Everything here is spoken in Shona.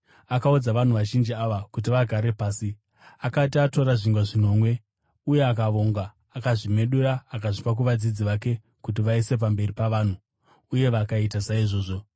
Akaudza vanhu vazhinji ava kuti vagare pasi. Akati atora zvingwa zvinomwe uye akavonga, akazvimedura akazvipa kuvadzidzi vake kuti vaise pamberi pavanhu, uye vakaita saizvozvo.